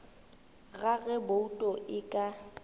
ga ge bouto e ka